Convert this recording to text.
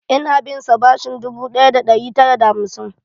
Ina binsa bashin dubu ɗaya da ɗari tara da hamsin.